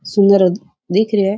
सुन्दर हेतु दिख रो है।